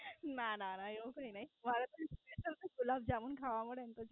ના ના ના, એવું કાય નહીં, મારે પણ ગુલાબજમું ખાવા મળે ને.